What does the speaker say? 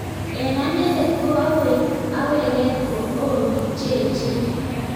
Eng anendet ko akweket ko oo bik cheech.